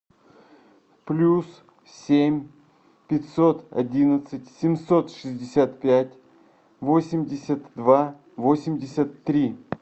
плюс семь пятьсот одиннадцать семьсот шестьдесят пять восемьдесят два восемьдесят три